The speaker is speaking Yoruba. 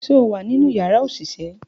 Ṣe o wa ninu yara oṣiṣẹ?